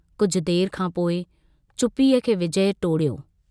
कुझु देर खां पोइ चुप्पीअ खे विजय टोड़ियो।